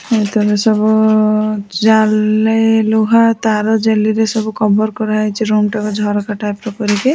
ଭିତରେ ସବୁ ଉ ଉ ଜାଲି ଲୁହା ତାର ଜାଲିରେ ସବୁ କଭର୍ କରା ହେଇଛି ରୁମ୍ ଟାକୁ ଝରକା ଟାଇପ୍ ର କରିକି।